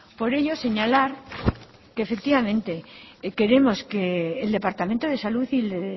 por ello señalar que efectivamente queremos que el departamento de salud y de